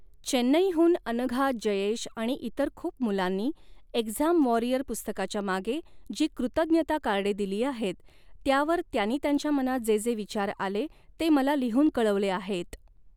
चेन्नईहून अनघा, जयेश आणि इतर खूप मुलांनी एक्झाम वॉरियर पुस्तकाच्या मागे जी कृतज्ञता कार्डे दिली आहेत, त्यावर त्यांनी त्यांच्या मनात जे जे विचार आले ते मला लिहून कळवले आहेत.